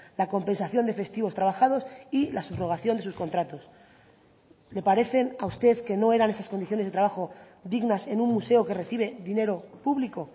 la compensación de festivos trabajados y la subrogación de sus contratos le parecen a usted que no eran esas condiciones de trabajo dignas en un museo que recibe dinero público